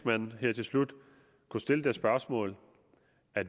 man her til slut kunne stille et polemisk spørgsmål